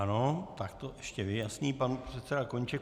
Ano, tak to ještě vyjasní pan předseda Koníček.